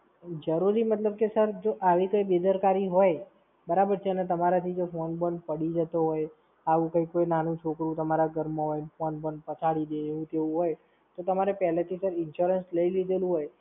જરૂરી મતલબ કે Sir જો આવી કઈ બેદરકારી હોય, બરાબર છે? અને તમારાથી જો phone બોન પડી જતો હોય આવું કઈ, કોઈ નાનું છોકરું તમારા ઘરમાં હોય, phone બોન પછાડી દે એવું તેવું હોય, તો તમારે પહેલેથી sir Insurance લઈ લીધેલું હોય,